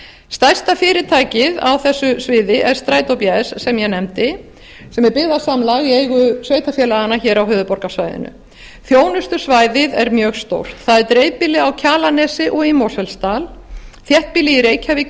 stærsta fyrirtækið á þessu sviði er strætó bs sem ég nefndi sem er byggðasamlag í eigu sveitarfélaga á höfuðborgarsvæðinu þjónustusvæðið er mjög stórt það er dreifbýli á kjalarnesi og í mosfellsdal þéttbýlið í reykjavík